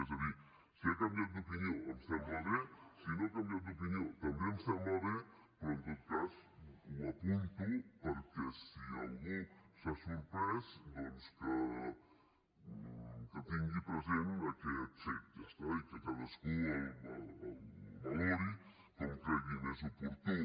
és a dir si ha canviat d’opinió em sembla bé si no ha canviat d’opinió també em sembla bé però en tot cas ho apunto perquè si algú s’ha sorprès que tingui present aquest fet ja està i que cadascú el valori com cregui més oportú